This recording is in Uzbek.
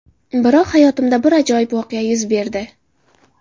Biroq hayotimda bir ajoyib voqea yuz berdi.